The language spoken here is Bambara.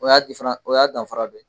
O y'a o y'a danfara dɔ ye.